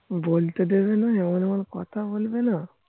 বলতে দেবে না এমন এমন মন কথা বলবে না